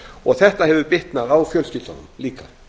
og þetta hefur bitnað á fjölskyldunum líka